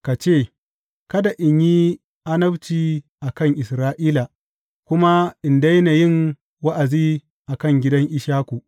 Ka ce, Kada in yi annabci a kan Isra’ila, kuma in daina yin wa’azi a kan gidan Ishaku.’